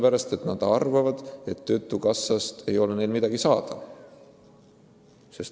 Aga nad arvavad, et töötukassast ei ole neil midagi saada.